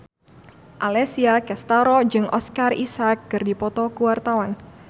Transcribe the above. Alessia Cestaro jeung Oscar Isaac keur dipoto ku wartawan